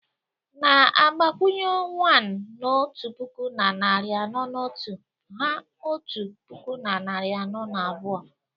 Na-agbakwụnye 0ne na otu puku na narị anọ na otu, hà otu puku na narị anọ na abụọ